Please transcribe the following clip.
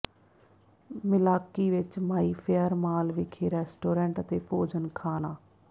Milwaukee ਵਿਚ Mayfair mall ਵਿਖੇ restaurant ਅਤੇ ਭੋਜਨ ਖਾਣਾ